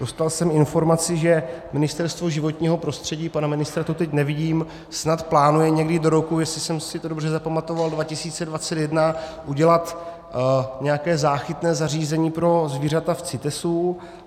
Dostal jsem informaci, že Ministerstvo životního prostředí, pana ministra tu teď nevidím, snad plánuje někdy do roku, jestli jsem si to dobře zapamatoval, 2021 udělat nějaké záchytné zařízení pro zvířata v CITESu.